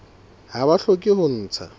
ha ba hloke ho ntsha